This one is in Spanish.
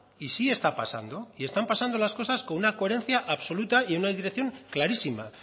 y sí está pasando y están pasando las cosas con una coherencia absoluta y en una dirección clarísima